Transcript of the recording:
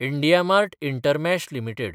IndiaMART intermesh limited